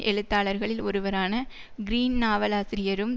எழுத்தாளர்களில் ஒருவரான கிரீன் நாவலாசிரியரும்